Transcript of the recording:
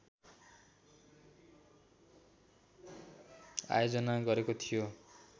आयोजना गरेको थियो